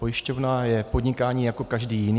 Pojišťovna je podnikání jako každé jiné.